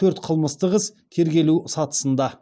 төрт қылмыстық іс тергелу сатысында